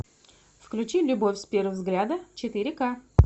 включи любовь с первого взгляда четыре ка